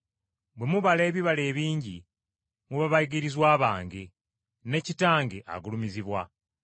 Bwe mubala ebibala ebingi, muba bayigirizwa bange, ne Kitange, agulumizibwa.